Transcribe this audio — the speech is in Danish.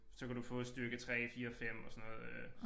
Så kan du få styrke 3 4 og 5 og sådan noget øh